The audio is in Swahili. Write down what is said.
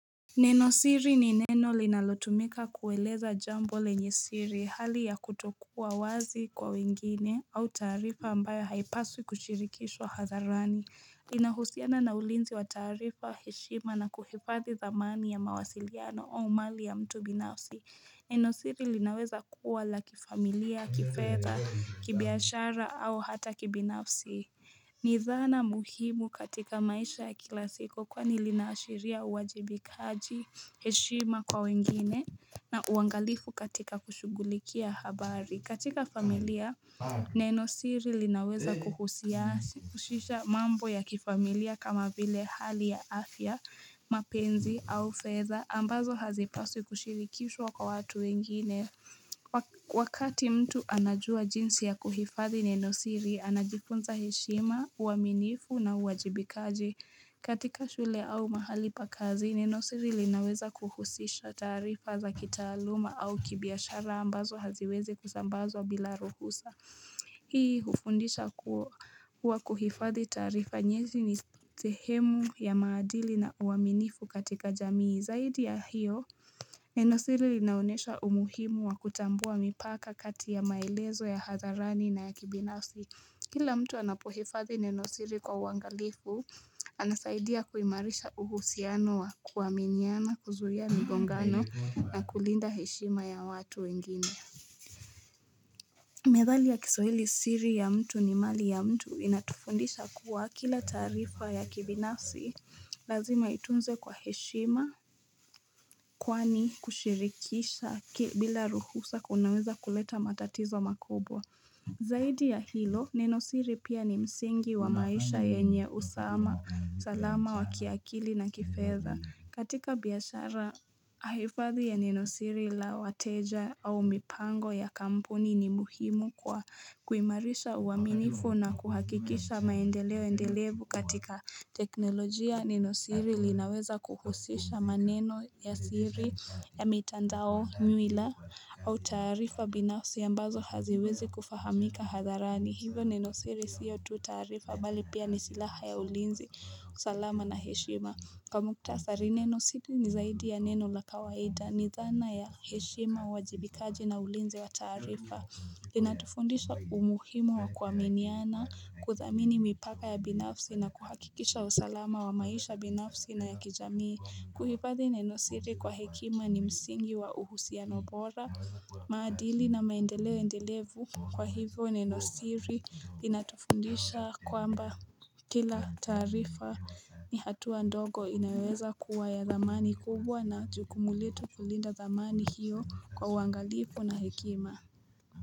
Nenosiri ni neno linalotumika kueleza jambo lenye siri hali ya kutokuwa wazi kwa wengine au tarifa ambayo haipaswi kushirikishwa hadharani Linahusiana na ulinzi wa tarifa heshima na kuhifadhi dhamani ya mawasiliano au mali ya mtu binafsi Nenosiri linaweza kuwa la kifamilia kifedha kibiashara au hata kibinafsi ni dhana muhimu katika maisha ya kila siku kwani linaashiria uwajibikaji heshima kwa wengine na uangalifu katika kushughulikia habari. Katika familia, Nenosiri linaweza kuhusisha mambo ya kifamilia kama vile hali ya afya, mapenzi au fedha. Ambazo hazipaswi kushirikishwa kwa watu wengine. Wakati mtu anajua jinsi ya kuhifadhi nenosiri, anajifunza heshima, uaminifu na uwajibikaji katika shule au mahali pa kazi, nenosiri linaweza kuhusisha tarifa za kitaluma au kibiashara ambazo haziwezi kuzambazwa bila ruhusa Hii hufundisha kuwa kuhifadhi tarifa nyezi ni sehemu ya maadili na uaminifu katika jamii. Zaidi ya hiyo, Nenosiri linaonyesha umuhimu wa kutambua mipaka kati ya maelezo ya hadharani na ya kibinasi. Kila mtu anapohifadhi Nenosiri kwa uangalifu, anasaidia kuimarisha uhusiano wa kuaminiana, kuzuia mgongano na kulinda heshima ya watu wengine. Methali ya kiswahili siri ya mtu ni mali ya mtu inatufundisha kuwa kila tarifa ya kibinafsi lazima itunzwe kwa heshima kwani kushirikisha bila ruhusa kunaweza kuleta matatizo makubwa. Zaidi ya hilo nenosiri pia ni msingi wa maisha yenye usama salama wa kiakili na kifedha katika biashara hifadhi ya nenosiri la wateja au mipango ya kampuni ni muhimu kwa kuimarisha uaminifu na kuhakikisha maendeleo endelevu katika teknolojia nenosiri linaweza kuhusisha maneno ya siri ya mitandao nywila au tarifa binafsi ambazo haziwezi kufahamika hadharani Hivyo nenosiri sio tu tarifa bali pia ni silaha ya ulinzi usalama na heshima. Kwa mukhtasari nenosiri ni zaidi ya neno la kawaida ni dhana ya heshima uwajibikaji na ulinzi wa tarifa Linatufundisha umuhimu wa kuaminiana kuthamini mipaka ya binafsi na kuhakikisha usalama wa maisha binafsi na ya kijamii. Kuhifadhi neno siri kwa hekima ni msingi wa uhusiano bora. Maadili na maendeleo endelevu kwa hivyo neno siri linatufundisha kwamba kila tarifa ni hatua ndogo inayoeweza kuwa ya dhamani kubwa na jukumu letu kulinda dhamani hiyo kwa uangalifu na hekima.